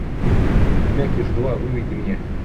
мякиш два выведи мне